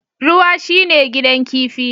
Ruwa shine gidan kifi